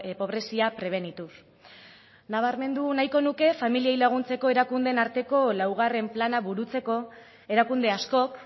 pobrezia prebenituz nabarmendu nahiko nuke familiei laguntzeko erakundeen arteko laugarren plana burutzeko erakunde askok